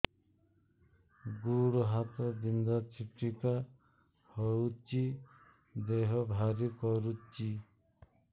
ଗୁଡ଼ ହାତ ବିନ୍ଧା ଛିଟିକା ହଉଚି ଦେହ ଭାରି କରୁଚି